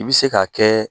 I bɛ se k'a kɛ